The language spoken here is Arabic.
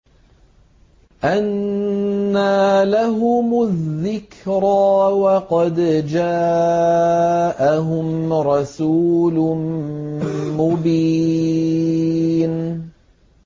أَنَّىٰ لَهُمُ الذِّكْرَىٰ وَقَدْ جَاءَهُمْ رَسُولٌ مُّبِينٌ